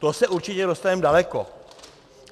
To se určitě dostaneme daleko.